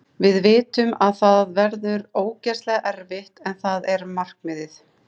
Við vitum að það verður ógeðslega erfitt en það er markmiðið.